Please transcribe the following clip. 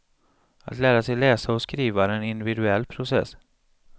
Att lära sig läsa och skriva är en individuell process.